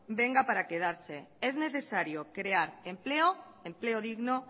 venga para quedarse es necesario crear empleo empleo digno